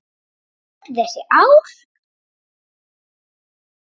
Öll þessi ár?